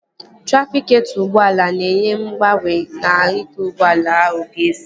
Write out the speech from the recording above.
Trafịketọ ụgbọala na-enye mgbaàmà nke ụzọ ụgbọala ahụ ga-esi